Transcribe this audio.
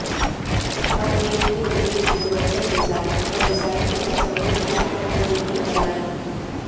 ہر ایک کے لئے یونیورسل ڈیزائن اور ڈیزائن کے تصور کو اندرونی بنائیں